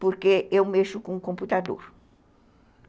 porque eu mexo com o computador.